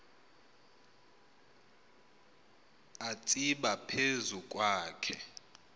atsiba phezu kwakhe